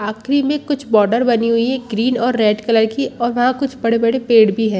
आखरी कुछ बॉर्डर बनी हुई है ग्रीन और रेड कलर की और वहाँ कुछ बड़े-बड़े पेड़ भी है।